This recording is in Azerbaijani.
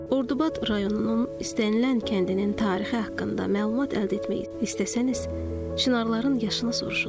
Ordubad rayonunun istənilən kəndinin tarixi haqqında məlumat əldə etmək istəsəniz, çinarların yaşını soruşun.